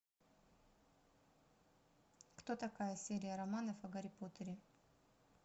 кто такая серия романов о гарри поттере